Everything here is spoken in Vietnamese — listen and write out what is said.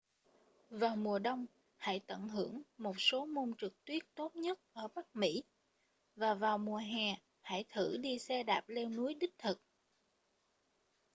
vào mùa đông hãy tận hưởng một số môn trượt tuyết tốt nhất ở bắc mỹ và vào mùa hè hãy thử đi xe đạp leo núi đích thực